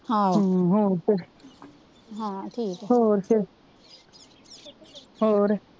ਹੋਰ ਫਿਰ ਹੋਰ ਫਿਰ